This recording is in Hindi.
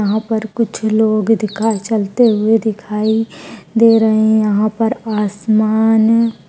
यहाँ पर कुछ लोग दिखा चलते हुए दिखाई दे रहे। यहाँ पर आसमान --